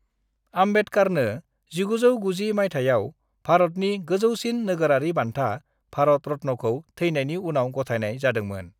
"आम्बेदकारनो 1990 माइथायाव भरतनि गोजौसिन नोगोरारि बान्था, भारत रत्न'खौ थैनायनि उनाव गथायनाय जादोंमोन ।"